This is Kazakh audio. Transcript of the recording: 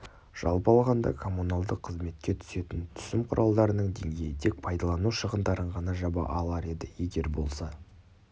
жалпы алғанда коммуналдық қызметке түсетін түсім құралдарының деңгейі тек пайдалану шығындарын ғана жаба алар еді егер болса